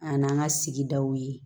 An n'an ka sigidaw ye